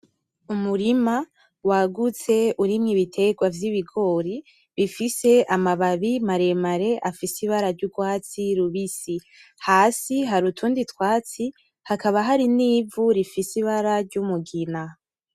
Umurima wagutse urimwo ibiterwa vy’ibigori bifise amababi maremare afise ibara ry’urwatsi rubisi. Hasi har’utundi twatsi hakaba hari nivu rifise ibara ry’umugina.